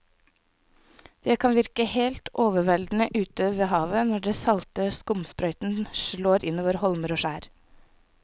Det kan virke helt overveldende ute ved havet når den salte skumsprøyten slår innover holmer og skjær.